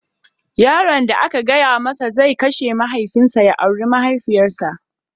Yaron da aka gaya masa zai kashe mahaifinsa ya auri mahaifiyarsa